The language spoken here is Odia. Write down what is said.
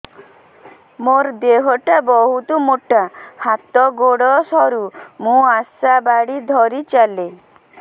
ମୋର ଦେହ ଟା ବହୁତ ମୋଟା ହାତ ଗୋଡ଼ ସରୁ ମୁ ଆଶା ବାଡ଼ି ଧରି ଚାଲେ